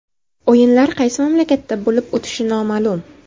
O‘yinlar qaysi mamlakatda bo‘lib o‘tishi noma’lum.